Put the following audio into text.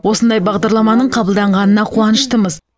осындай бағдарламаның қабылданғанына қуаныштымыз